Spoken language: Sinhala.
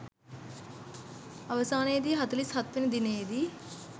අවසානයේ දී හතලිස් හත්වැනි දිනයේ දී